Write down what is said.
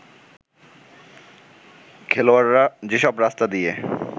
খেলোয়াড়রা যেসব রাস্তা দিয়ে